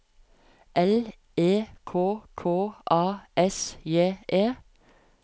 L E K K A S J E